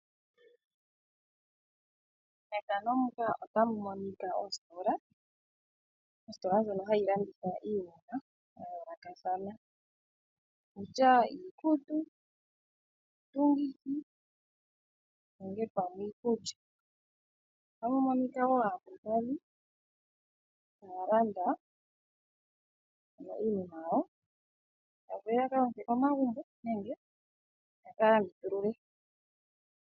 Ositola ndjono hayi landitha iinima ya yoolokothana ongele iikutu nenge pamwe iikulya. Aantu otaya landa iinima yawo yakazale komagumbo nenge ya kalandithulule.